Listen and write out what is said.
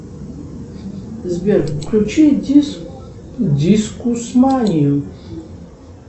сбер включи дискусманию